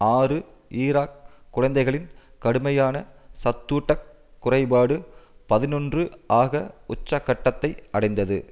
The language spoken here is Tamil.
ஆறு ஈராக் குழந்தைகளின் கடுமையான சத்தூட்டக் குறைபாடு பதினொன்று ஆக உச்சக்கட்டத்தை அடைந்தது